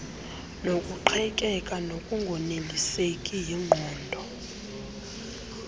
nokuqhekeka nokungoneliseki yingqondo